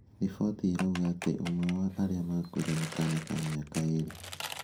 Riboti irauga ati ũmwe wa arĩa maakuire nĩ kaana ka mĩaka ĩĩrĩ.